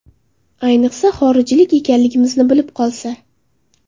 Ayniqsa, xorijlik ekanligingizni bilib qolsa.